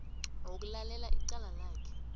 wokulalela icala lakhe